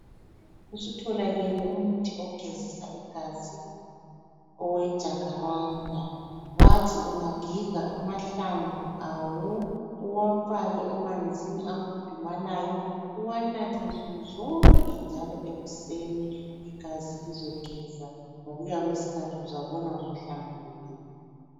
Usutholakele umuthi ogezisa igazi owejakharanda. Bathi ungagiga amahlamvu awo uwafake emanzini akhudumalayo , uwanathe nsuku zonke njalo ekuseni Igazi lizogeza uzabona ngokuya kwesikhathi usuhlambululekile.